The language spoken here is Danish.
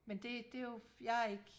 men det det er jo jeg er ikke